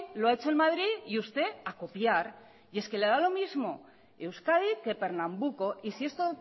lo ha hecho en madrid y usted a copiar y es que le da lo mismo euskadi que pernambuco y si esto